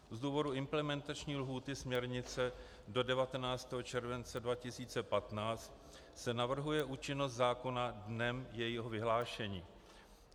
Z důvodu implementační lhůty směrnice do 19. července 2015 se navrhuje účinnost zákona dnem jejího vyhlášení.